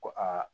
Ko aa